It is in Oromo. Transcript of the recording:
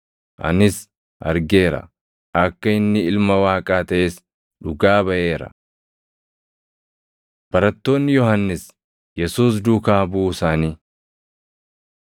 Anis argeera; akka inni Ilma Waaqaa taʼes dhugaa baʼeera.” Barattoonni Yohannis Yesuus Duukaa Buʼuu Isaanii 1:40‑42 kwf – Mat 4:18‑22; Mar 1:16‑20; Luq 5:2‑11